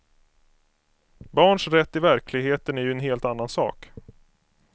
Barns rätt i verkligheten är ju en helt annan sak.